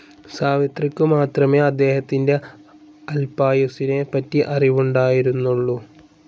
സാവിത്രിക്കുമാത്രമേ അദ്ദേഹത്തിൻ്റെ അൽപായുസ്സിനെ പറ്റി അറിവുണ്ടായിരുന്നുള്ളൂ.